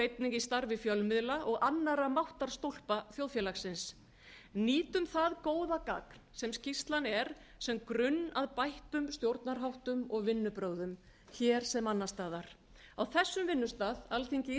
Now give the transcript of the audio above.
einnig í starfi fjölmiðla og annarra máttarstólpa þjóðfélagsins nýtum það góða gagn sem skýrslan er sem grunn að bættum stjórnarháttum og vinnubrögðum hér sem annars staðar á þessum vinnustað alþingi